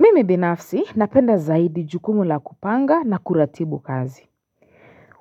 Mimi binafsi napenda zaidi jukumu la kupanga na kuratibu kazi